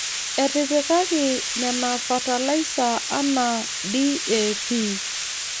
Etipikaki Nena fatalaisa anaa DAP.